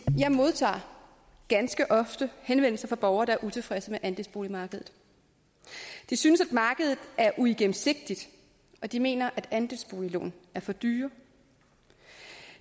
modtager ganske ofte henvendelser fra borgere der er utilfredse med andelsboligmarkedet de synes at markedet er uigennemsigtigt og de mener at andelsboliglån er for dyre